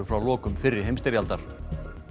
frá lokum fyrri heimsstyrjaldar